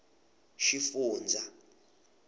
xifundzha